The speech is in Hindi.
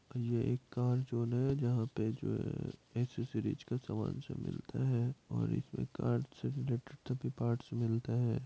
ये एक कार जॉन हैं जहाँ पे जो हैं एसेसरिज का सामान सब मिलता हैं और इसमें कार से रिलेटेड सभी पार्ट्स मिलते हैं।